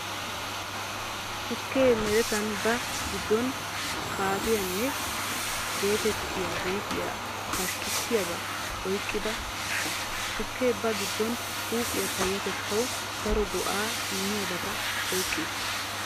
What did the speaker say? Tukkee meretan ba giddon "kaafeyn" geetettiya huuphiyaa pashkkissiyabaa oyqqida ushsha. Tukkee ba giddon huuphiyaa payyatettawu daro go"aa immiyabata oyqqi uttiis.